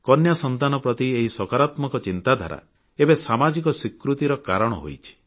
କନ୍ୟା ସନ୍ତାନ ପ୍ରତି ଏହି ସକାରାତ୍ମକ ଚିନ୍ତାଧାରା ଏବେ ସାମାଜିକ ସ୍ୱୀକୃତିର କାରଣ ହୋଇଛି